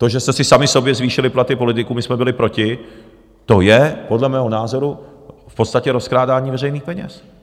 To, že jste si sami sobě zvýšili platy politiků, my jsme byli proti, to je podle mého názoru v podstatě rozkrádání veřejných peněz.